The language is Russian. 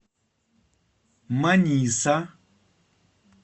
маниса